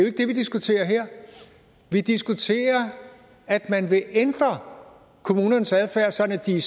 ikke det vi diskuterer her vi diskuterer at man vil ændre kommunernes adfærd sådan at de